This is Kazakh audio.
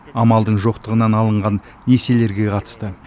амалдың жоқтығынан алынған несиелерге қатысты